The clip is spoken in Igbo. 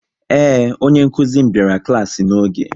Ee, onye nkuzi m biara klaasi n'oge